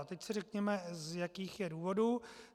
A teď si řekněme, z jakých je důvodů.